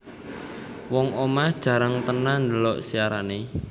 Wong omah jarang tenan ndelok siarane